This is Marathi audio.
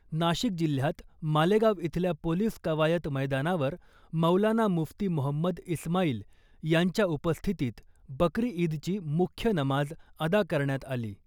नाशिक जिल्ह्यात मालेगाव इथल्या पोलीस कवायत मैदानावर मौलाना मुफ्ती मोहम्मद इस्माईल यांच्या उपस्थितीत बकरी ईदची मुख्य नमाज अदा करण्यात आली .